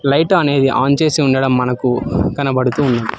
Light అనేది on చేసి ఉండడం మనకు కనబడుతూ ఉన్నది.